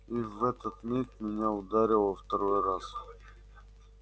и в этот миг меня ударило второй раз